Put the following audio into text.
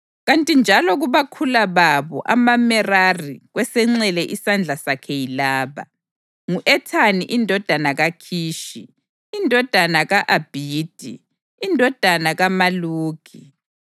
kanti njalo kubakhula babo amaMerari kwesenxele isandla sakhe yilaba: ngu-Ethani indodana kaKhishi, indodana ka-Abhidi, indodana kaMaluki,